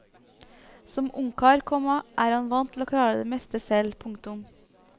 Som ungkar, komma er han vant til å klare det meste selv. punktum